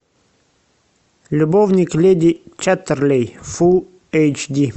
любовник леди чаттерлей фул эйч ди